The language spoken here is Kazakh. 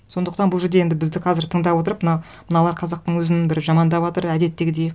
сондықтан бұл жерде енді бізді қазір тыңдап отырып мыналар қазақтың өзін бір жамандаватыр әдеттегідей